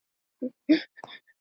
Ástæða þess er ekki ljós.